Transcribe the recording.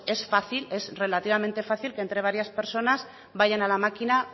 pues es fácil es relativamente fácil que entre varias personas vayan a la máquina